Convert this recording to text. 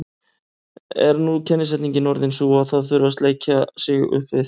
Er nú kennisetningin orðin sú að það þurfi að sleikja sig upp við